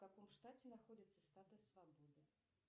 в каком штате находится статуя свободы